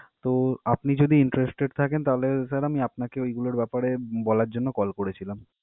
তো, আপনি যদি interested থাকেন, তাহলে sir আমি আপনাকে ঐগুলোর ব্যাপারে বলার জন্য call করেছিলাম।